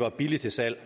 var billigt til salg